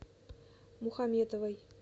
мухаметовой